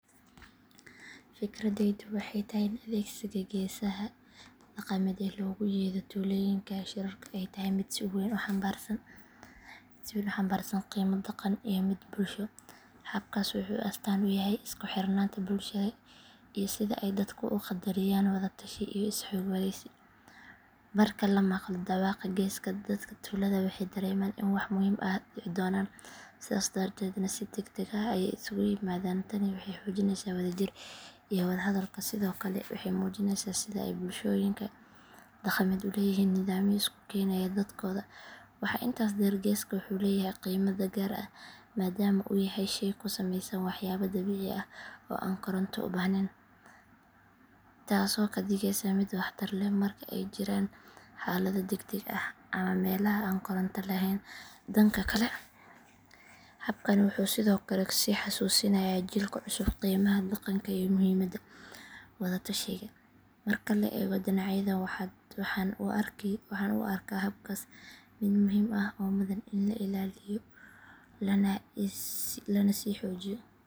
Fikradeydu waxay tahay in adeegsiga geesaha dhaqameed ee loogu yeedho tuulooyinka shirarka ay tahay mid si weyn u xambaarsan qiimo dhaqan iyo mid bulsho. Habkaas wuxuu astaan u yahay isku xirnaanta bulshada iyo sida ay dadku u qadariyaan wada tashi iyo is xogwaraysi. Marka la maqlo dhawaaqa geeska, dadka tuulada waxay dareemaan in wax muhiim ah dhici doonaan, sidaas darteedna si degdeg ah ayay isugu yimaadaan. Tani waxay xoojinaysaa wadajirka iyo wada hadalka, sidoo kale waxay muujinaysaa sida ay bulshooyinka dhaqameed u leeyihiin nidaamyo isku keenaya dadkooda. Waxaa intaas dheer, geesku wuxuu leeyahay qiime gaar ah maadaama uu yahay shay ka sameysan waxyaabo dabiici ah oo aan koronto u baahnayn, taasoo ka dhigaysa mid waxtar leh marka ay jiraan xaalado degdeg ah ama meelaha aan koronto lahayn. Dhanka kale, habkani wuxuu sidoo kale sii xasuusinayaa jiilka cusub qiimaha dhaqanka iyo muhiimadda wada tashiga. Marka la eego dhinacyadan, waxaan u arkaa habkaas mid muhiim ah oo mudan in la ilaaliyo lana sii xoojiyo.